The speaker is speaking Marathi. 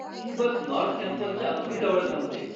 ही बस नॉर्थ कॅम्पसच्या अगदी जवळ थांबते.